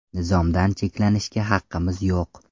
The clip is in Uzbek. Nizomdan cheklanishga haqqimiz yo‘q.